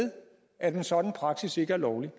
at en sådan praksis ikke er lovlig